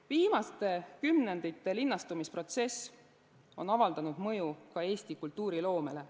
Viimaste kümnendite linnastumisprotsess on avaldanud mõju ka Eesti kultuuriloomele.